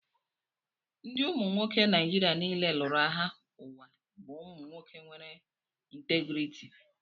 Ndị umu nwoke Nijiria niile lụrụ agha ụwa bụ umu nwoke nwere ntégriiti